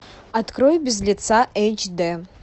открой без лица эйч дэ